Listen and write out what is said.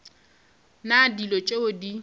na le dilo tšeo di